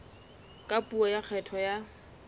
ka puo ya kgetho ya